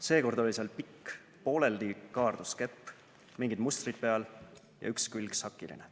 Seekord oli seal pikk, pooleldi kaardus kepp, mingid mustrid peal ja üks külg sakiline.